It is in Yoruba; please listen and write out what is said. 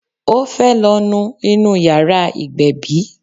Ó fẹ́ lọ nu inú yàrá ìgbébí.